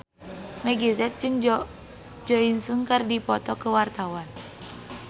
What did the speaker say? Meggie Z jeung Jo In Sung keur dipoto ku wartawan